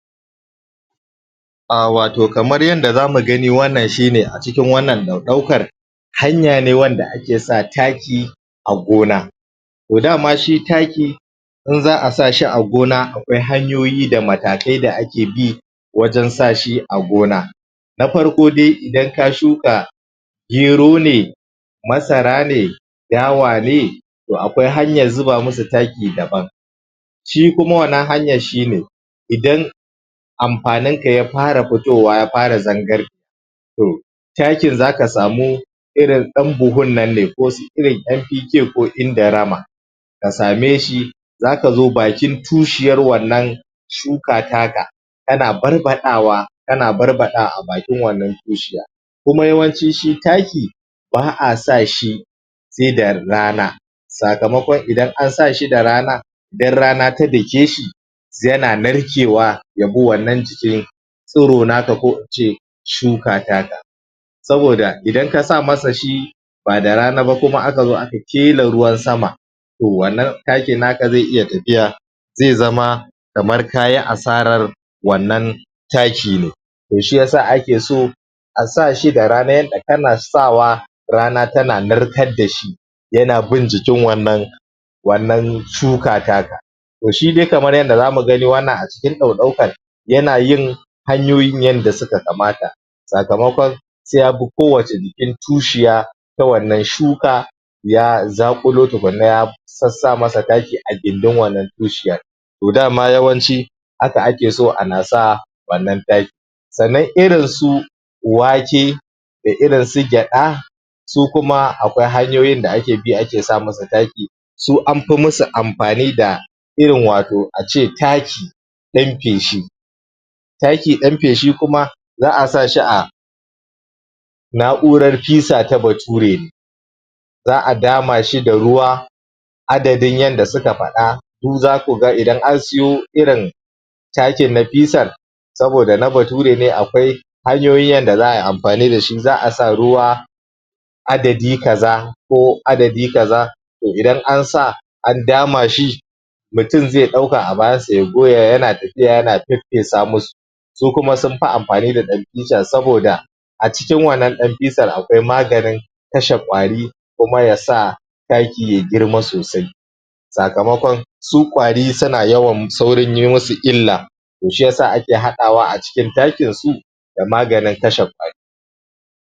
A wato shine wanna kamar yadda zamu gani a cikin wannan ɗaukan hanya ne wanda ake sa taki a gona. To dama shi taki in za a sa shi a gona akwai hanyoyi da matakai da ake bi wajen sa shi a gona na farko dai idan ka shuka gero ne masara ne, dawa ne, to akwai hanyar zuba musu taki dabam, shi kuma wannan hanyar shine idan amfaninka ya fara fitowa ya fara zangare to, takin za ka samu irin ɗan buhun nanne ko irin NPK ko Indorama, ka same shi za ka zo bakin tushiyar wannan shuka taka, kana barbaɗawa kana barbaɗawa a bakin wannan tushiyar. Kuma yawanci shi taki ba'a sa shi sai da rana sakamakon idan an sa shi da rana in rana ta dake shi yana narkewa ya bi wannan jikin tsiro naka ko ince shuka taka. Saboda idan ka sa masa shi, ba da rana ba kuma aka zo kela ruwan sama to wannan takin naka zai iya tafiya zai zama kamar kayi asarar wannan takine. To shiya sa ake so, a sa shi da rana yadda kana sawa rana tana narkar da shi yana bin jikin wannan wannan shuka taka. To shi dai kamar yadda za mu gani a cikin ɗaukan yana yin hanyoyin yadda suka kamata, sakamakon sai ya bi kowacce jikin tushiya ta wannan shuka, ya zakulo tukuna ya sassa masa taki tukunaa gindin wannan tushiyar. To dama yawanci haka akeso ana sa wannan taki, Sannan irin su wake, da irin su gyaɗa, su kuma akwai hanyoyin da ake bi ake sa musu taki su amfi musu amfani da irin wato ace taki ɗan feshi. Taki ɗan feshi kuma za'a sa shi a na'urar fisa ta baturwe za'a dama shi da ruwa, adadin yadda suka faɗa, ku za ku ga idan an siyo takin na fisar sabida na bature ne akwai hanyoyi yadda za'a ai amfani da shi, za'a sa ruwa adadi kaza, ko adadi kaza, to idan an sa an dama shi, mutum zai ɗauka a bayansa ya goya yana tafiya fesfesa musu, su kuma sun fi amfani da ɗan fisar, saboda a cikin wannan ɗan fisar, akwai maganin kashe ƙwari, kuma ya sa taki ya girma sosai. Sakamakon su ƙwari suna yawan sauin yi musu illa, to shi ya sa ake haɗawa a cikin takinsu da maganin kashe ƙwari.